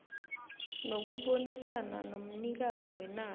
nokubonisana nomnikazi wenarha